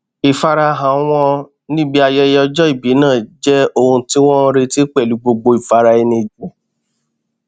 ìfarahàn wọn níbi ayẹyẹ ọjọ ìbí náà jẹ ohun tí wọn n retí pẹlú gbogbo ìfaraẹnijìn